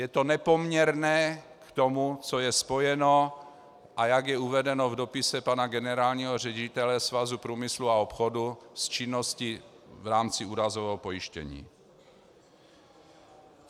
Je to nepoměrné k tomu, co je spojeno a jak je uvedeno v dopise pana generálního ředitele Svazu průmyslu a obchodu s činností v rámci úrazového pojištění.